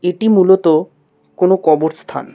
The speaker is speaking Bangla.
এটি মূলত কোনো কবর স্থান।